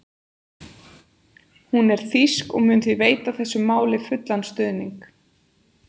Hún er þýsk og mun því veita þessu máli fullan stuðning.